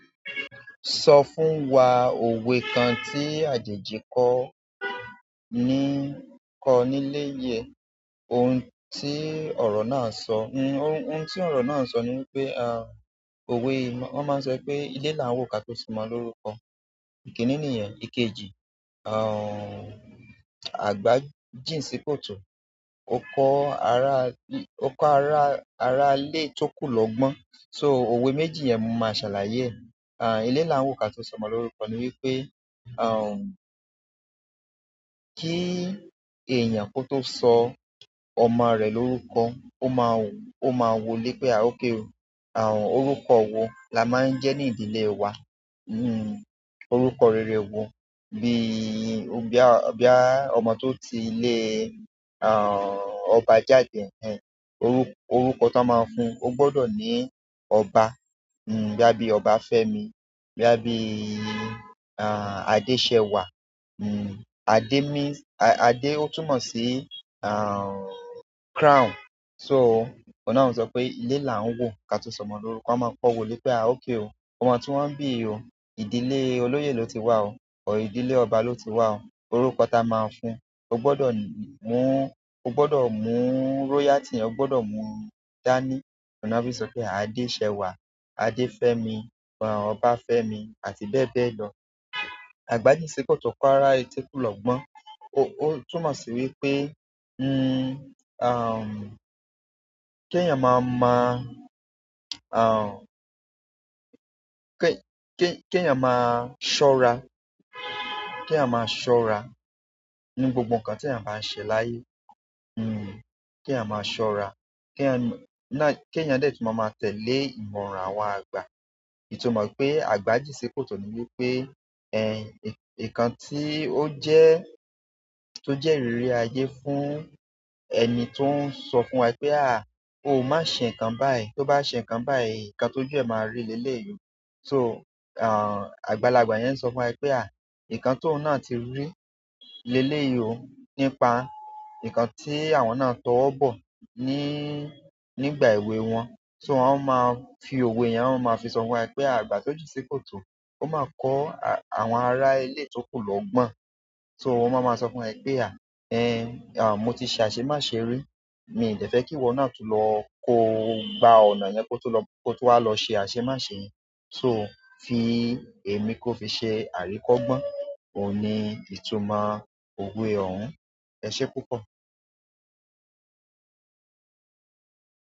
Sọ fún wa òwe kan tí àjèjì kọ ní, kọ níléyẹ, ohun tí ọ̀rọ̀ náà ń sọ. Ohun, ohun tí ọ̀rọ̀ náà ń sọ ni wípé a, òwe, wọ́n máa ń sọ pé ilé là ń wò ká tó ṣomọ lórúkọ. Ìkíní nìyẹn, ìkejì, àgbà jìn sí kòtò. Ó kọ́ ará, ó kọ́ ará, ará ilé tó kù lọ́ gbọ́n. So òwe méjì yẹn, mo máa ṣàlàyé ẹ. Ilé làá wò, kí a tó sọ ọmọ lorúkọ ní wípé, kí èèyàn tó sọ ọmọ rẹ̀ lórúkọ, o máa wo ilé pé a, okay o. Àhún, orúkọ wo la máa ń jẹ́ ní ìdílé wa? Hmm. Orúkọ rere wo bí i, bí á, bí bóyá ọmọ tó ti lé, àhún, ọba jáde. Ẹ̀hẹn. Orúkọ, orúkọ tí wọ́n máa fún un, ó gbọ́dọ̀ ní ọba. Hm, bóyá bíi Ọbafẹ́mi, bóyá bíi àhún, Adésẹwà. Hmm. Adé means, Adé ó túmọ̀ sí, àhún, crown. So òhun náà ń sọ pé ilé là ń wò ká tó ṣomọ lórúkọ. A máa kọ́ wo lé pé a òkay o. Ọmọ tí wọ́n bí o, ìdílé olóyè ló ti wá o, ọ̀ ìdílé ọba ló ti wá o. Orúkọ tí a máa fún un, ó gbọdọ̀ mú, ó gbọdọ̀ mú royalty, ó gbọdọ̀ mú dání. Òhun náà fi sọ pé Adésẹwà, Adéfémi, àhún, Ọbafẹ́mi àti bẹ́ẹ̀ bẹ́ẹ̀ lọ. Àgbà jìn sí kòtò, ó kọ́ ara yòókù lọ́gbọ́n. Ó, ó túmọ̀ sí wípé, hmm, àhún, kí ẹ̀yàn máa mọ, àhún, kí èèyàn máa ṣọ́ra, kí èèyàn máa ṣọ́ra ní gbogbo ǹkan tí èèyàn bá n se láyé hmm. Kí ẹ̀yàn máa ṣọ́ra, kí ẹ̀èyàn, kí èèyàn dẹ̀ tún máa ma tẹ̀lé ìmọ̀ràn àwọn àgbà. Ìtumọ̀ pé àgbájé ńṣe kòtò ni wípé, ẹh, ì, ìkan tí ó jẹ́, tó jẹ́ ìrírí ayé fún ẹni tó ń sọ fún wa pé a, o má ṣe ǹkan báyìí. Tí o bá ṣe ǹkan báyìí, ǹkan tó jù ẹ́ máa rí leléyìí so, àhún, àgbàlagbà yẹn ń sọ fún wa pé à, ǹkan tó nà tí rí leléyìí nípa ǹkan tí àwọn náà towọ́bọ̀ nígbà èwe wọn. So wọ́n máa ń fi òwe yẹn, wọ́n máa ń fi sọ fún wa pé àgbà tó jí nṣe kòtò, ó máa kọ́ àwọn ará ilé tó kù lọ́gbọ́n. So, wọn máa ma sọ fún wa pé mo ti se aṣemáṣe rí mi dẹ̀ fẹ́ kí iwọ na tún lọ kó gba ọ̀nà yẹn kó tún wá lọ se aṣemáṣe. So fi èmi kó fi ṣe àríkọ́ gbọ́n. Ó ní ìtumọ̀ òwe òhún. Ẹ ṣé púpọ̀.